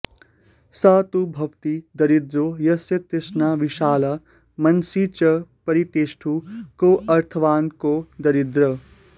स तु भवति दरिद्रो यस्य तृष्णा विशाला मनसि च परितुष्टे कोऽर्थवान् को दरिद्रः